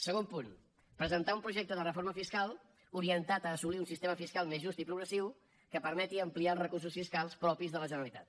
segon punt presentar un projecte de reforma fiscal orientat a assolir un sistema fiscal més just i progressiu que permeti ampliar els recursos fiscals propis de la generalitat